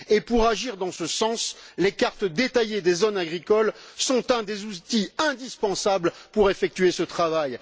Pour agir dans ce sens, les cartes détaillées des zones agricoles sont un des outils indispensables pour effectuer ce travail.